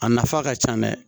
A nafa ka ca dɛ